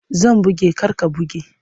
Zan buge kar ka buge!